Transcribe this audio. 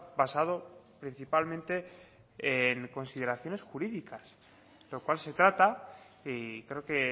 basado principalmente en consideraciones jurídicas lo cual se trata y creo que